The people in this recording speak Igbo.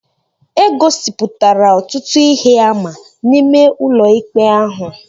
E gosipụtara ọtụtụ ihe àmà n'ime ụlọikpe ahụ